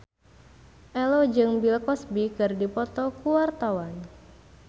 Ello jeung Bill Cosby keur dipoto ku wartawan